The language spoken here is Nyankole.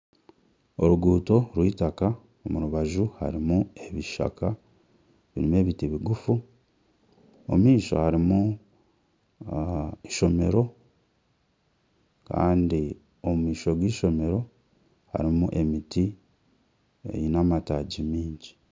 Oruguuto rw'eitaka omu rubaju harimu ebishaka erimu ebiti bigufu omu maisho harimu eishomero kandi omu maisho g'eishomero harimu emiti eine amataagi maingi